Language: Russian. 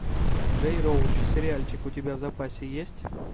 джей роуч сериальчик у тебя в запасе есть